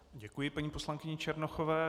Děkuji paní poslankyni Černochové.